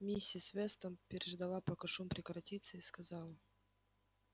миссис вестон переждала пока шум прекратится и сказала